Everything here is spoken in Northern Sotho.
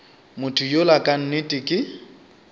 motho yola ka nnete ke